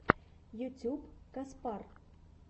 ютюб каспар